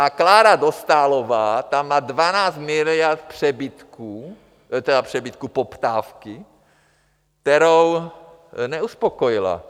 A Klára Dostálová má 12 miliard přebytků... teda přebytků, poptávky, kterou neuspokojila.